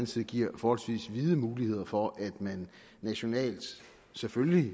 side giver forholdsvis vide muligheder for at man nationalt selvfølgelig